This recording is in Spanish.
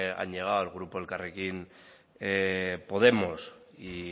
han llegado el grupo elkarrekin podemos y